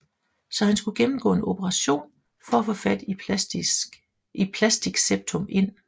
Så han skulle gennemgå en opration for at få sat et plastik septum ind